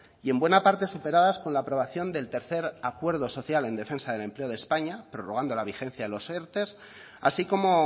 y en buena parte superadas con la aprobación del tercer acuerdo social en defensa del empleo de españa prorrogando la vigencia de los erte así como